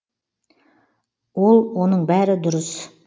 ол оның бәрі дұрыс